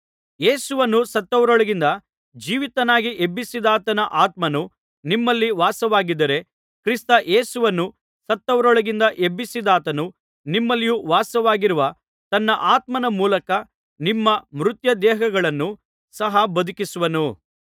ಯೇಸುವನ್ನು ಸತ್ತವರೊಳಗಿಂದ ಜೀವಿತನಾಗಿ ಎಬ್ಬಿಸಿದಾತನ ಆತ್ಮನು ನಿಮ್ಮಲ್ಲಿ ವಾಸವಾಗಿದ್ದರೆ ಕ್ರಿಸ್ತ ಯೇಸುವನ್ನು ಸತ್ತವರೊಳಗಿಂದ ಎಬ್ಬಿಸಿದಾತನು ನಿಮ್ಮಲ್ಲಿ ವಾಸವಾಗಿರುವ ತನ್ನ ಆತ್ಮನ ಮೂಲಕ ನಿಮ್ಮ ಮರ್ತ್ಯದೇಹಗಳನ್ನು ಸಹ ಬದುಕಿಸುವನು